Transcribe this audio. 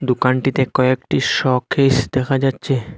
দোকানটিতে কয়েকটি শকেস দেখা যাচ্ছে।